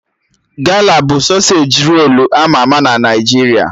Gala bụ sọsej rolu ama ama na Naijiria